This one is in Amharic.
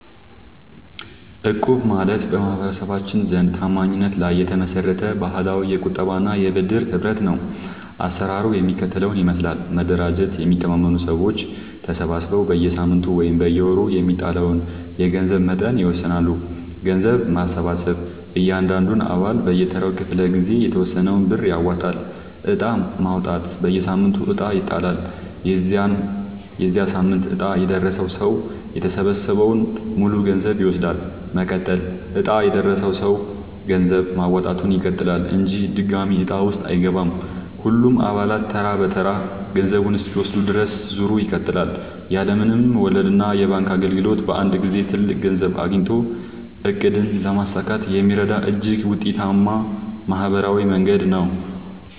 እቁብ ማለት በማህበረሰባችን ዘንድ ታማኝነት ላይ የተመሰረተ ባህላዊ የቁጠባና የብድር ህብረት ነው። አሰራሩ የሚከተለውን ይመስላል፦ መደራጀት፦ የሚተማመኑ ሰዎች ተሰባስበው በየሳምንቱ ወይም በየወሩ የሚጣለውን የገንዘብ መጠን ይወስናሉ። ገንዘብ መሰብሰብ፦ እያንዳንዱ አባል በየተራው ክፍለ-ጊዜ የተወሰነውን ብር ያዋጣል። ዕጣ ማውጣት፦ በየሳምንቱ ዕጣ ይጣላል። የዚያ ሳምንት ዕጣ የደረሰው ሰው የተሰበሰበውን ሙሉ ገንዘብ ይወስዳል። መቀጠል፦ ዕጣ የደረሰው ሰው ገንዘብ ማዋጣቱን ይቀጥላል እንጂ ድጋሚ ዕጣ ውስጥ አይገባም። ሁሉም አባላት ተራ በተራ ገንዘቡን እስኪወስዱ ድረስ ዙሩ ይቀጥላል። ያለ ምንም ወለድና የባንክ እንግልት በአንድ ጊዜ ትልቅ ገንዘብ አግኝቶ ዕቅድን ለማሳካት የሚረዳ እጅግ ውጤታማ ማህበራዊ መንገድ ነው።